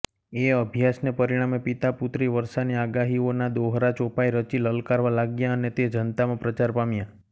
એ અભ્યાસને પરિણામે પિતાપુત્રીવર્ષાની આગાહીઓના દોહરાચોપાઈ રચી લલકારવા લાગ્યાં અને તે જનતામાં પ્રચાર પામ્યાં